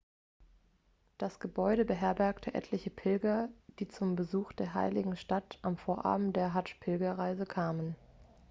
das gebäude beherbergte etliche pilger die zum besuch der heiligen stadt am vorabend der hadsch-pilgerreise kamen